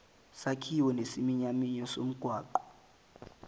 sakhiwo nesiminyaminya somgwaqo